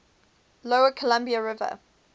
lower columbia river